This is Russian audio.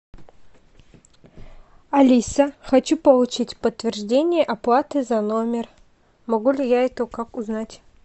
алиса хочу получить подтверждение оплаты за номер могу ли я это как узнать